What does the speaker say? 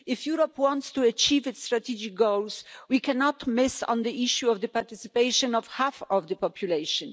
If Europe wants to achieve its strategic goals, we cannot miss out on the issue of the participation of half of the population.